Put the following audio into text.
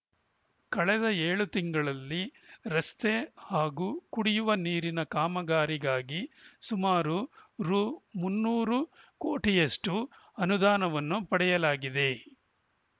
ಕಳೆದ ಏಳು ತಿಂಗಳಲ್ಲಿ ರಸ್ತೆ ಹಾಗೂ ಕುಡಿಯುವ ನೀರಿನ ಕಾಮಗಾರಿಗಾಗಿ ಸುಮಾರು ರು ಮುನ್ನೂರು ಕೋಟಿಯಷ್ಟು ಅನುದಾನವನ್ನು ಪಡೆಯಲಾಗಿದೆ